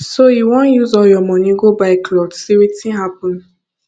so you wan use all your money go buy cloth say wetin happen